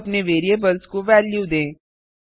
अब अपने वैरिएबल्स को वैल्यू दें